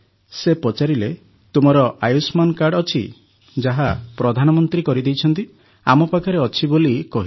ସେ ପଚାରିଲେ ତୁମର ଆୟୁଷ୍ମାନ କାର୍ଡ଼ ଅଛି ଯାହା ପ୍ରଧାନମନ୍ତ୍ରୀ କରିଦେଇଛନ୍ତି ଆମ ପାଖରେ ଅଛି ବୋଲି କହିଲୁ